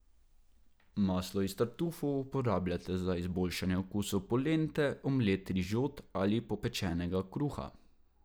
Maslo iz tartufov uporabljate za izboljšanje okusa polente, omlet, rižot ali popečenega kruha.